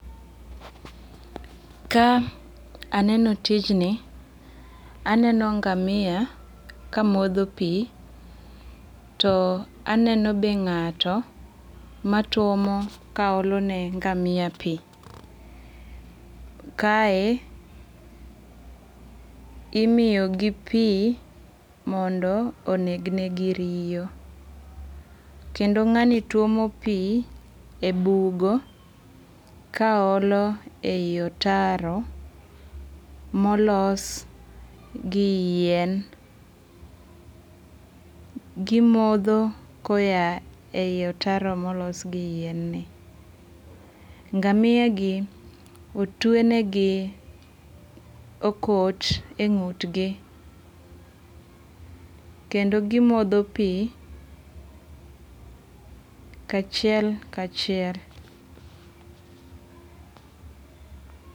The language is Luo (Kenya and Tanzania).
Ka aneno tijni, aneno ngamia ka modho pi. To aneno be ng'ato matwomo kaolo ne ngamia pi. Kae, imiyo gi pi mondo oneg negi riyo. Kendo ng'ani twomo pi e bugo kaolo e yi otaro molos gi yien. Gimodho koya e yi otaro molos gi yien ni. Ngamia gi otwenegi okot e ng'utgi. Kendo gimodho pi kachiel kachiel.